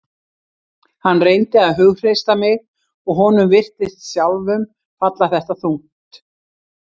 Hann reyndi að hughreysta mig og honum virtist sjálfum falla þetta þungt.